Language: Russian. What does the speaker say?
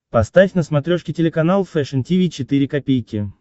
поставь на смотрешке телеканал фэшн ти ви четыре ка